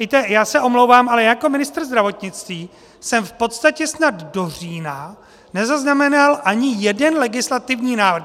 Víte, já se omlouvám, ale jako ministr zdravotnictví jsem v podstatě snad do října nezaznamenal ani jeden legislativní návrh.